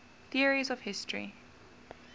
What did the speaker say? theories of history